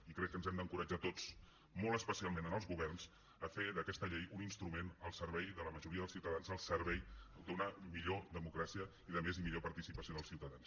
i crec que ens hem d’encoratjar tots molt especialment els governs a fer d’aquesta llei un instrument al servei de la majoria dels ciutadans al servei d’una millor democràcia i de més i millor participació dels ciutadans